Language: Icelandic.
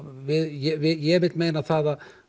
ég vil meina það